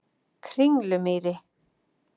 Kringlumýri